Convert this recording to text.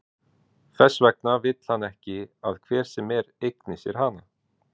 Þess vegna vill hann ekki að hver sem er eigni sér hana.